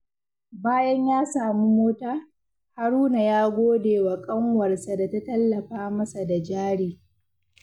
Bayan ya samu mota, Haruna ya gode wa ƙanwarsa da ta tallafa masa da jari.